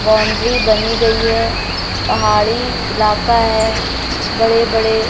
boundary बनी गई है पहाड़ी इलाका है बड़े बड़े--